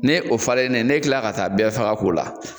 Ni o falennen ne kila ka taa bɛɛ faga k'o la